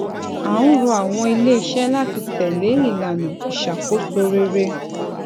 à um ń rọ àwọn iléiṣẹ láti tẹlé ìlànà ìṣàkóso rere